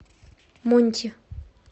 монти